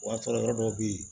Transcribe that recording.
O y'a sɔrɔ yɔrɔ dɔw bɛ ye